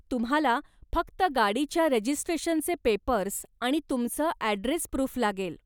तुम्हाला फक्त गाडीच्या रजिस्ट्रेशनचे पेपर्स् आणि तुमचं ॲड्रेस प्रूफ लागेल.